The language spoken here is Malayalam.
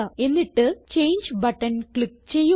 എന്നിട്ട് ചങ്ങെ ബട്ടൺ ക്ലിക്ക് ചെയ്യുക